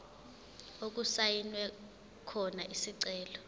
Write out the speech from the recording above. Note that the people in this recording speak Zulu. okusayinwe khona isicelo